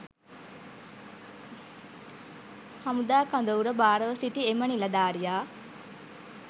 හමුදා කඳවුර භාරව සිටි එම නිලධාරියා